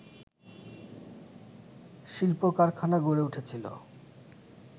শিল্প কারখানা গড়ে উঠেছিলো